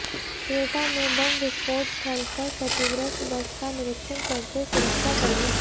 क्वेटा में बम विस्फोट स्थल पर क्षतिग्रस्त बस का निरीक्षण करते सुरक्षा कर्मी